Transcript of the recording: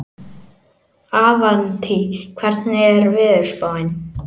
Avantí, hvernig er veðurspáin?